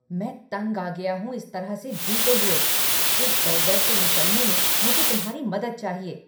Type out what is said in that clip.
मैं तंग आ गया हूँ इस तरह से जीते हुए! इस दलदल से निकलने में मुझे तुम्हारी मदद चाहिए!